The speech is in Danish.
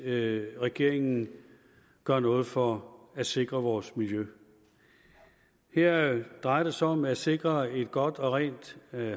at regeringen gør noget for at sikre vores miljø her drejer det sig om at sikre et godt og rent